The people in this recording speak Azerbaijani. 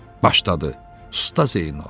Başladı Usta Zeynal.